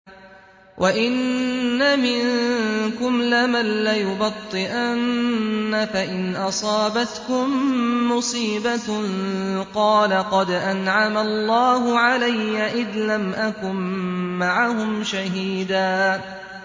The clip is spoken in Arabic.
وَإِنَّ مِنكُمْ لَمَن لَّيُبَطِّئَنَّ فَإِنْ أَصَابَتْكُم مُّصِيبَةٌ قَالَ قَدْ أَنْعَمَ اللَّهُ عَلَيَّ إِذْ لَمْ أَكُن مَّعَهُمْ شَهِيدًا